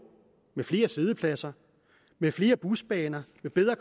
med flere siddepladser med flere busbaner med bedre